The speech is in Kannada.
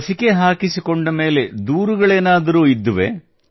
ಲಸಿಕೆ ಹಾಕಿಸಿಕೊಂಡ ಮೇಲೆ ದೂರುಗಳೇನಾದರೂ ಇದ್ದವೇ